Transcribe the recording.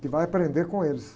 Que vai aprender com eles.